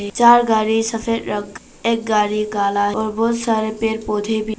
चार गाड़ी सफेद रंग और एक गाड़ी काला और बहुत सारे पेड़ पौधे भी--